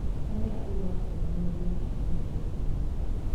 Tene andũ macemanagia mĩcmanioni ya mũingĩ